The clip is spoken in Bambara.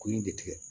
Ko in de tigɛ